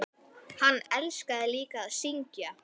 Hann elskaði líka að syngja.